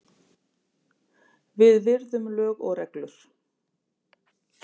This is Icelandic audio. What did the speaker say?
Við virðum lög og reglur